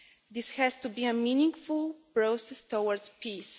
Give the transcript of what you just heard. This has to be a meaningful process towards peace.